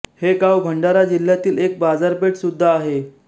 हे गाव भंडारा जिल्ह्यातील एक बाजारपेठ सुद्धा आहे